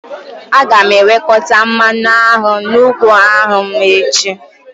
Aga m ewekọta mmanụ aṅụ n'ugbo anụ m echi